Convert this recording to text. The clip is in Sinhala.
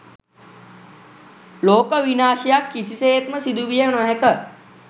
ලෝක විනාශයක් කිසිසේත්ම සිදුවිය නොහැක